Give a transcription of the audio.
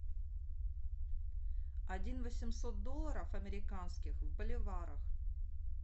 один восемьсот долларов американских в боливарах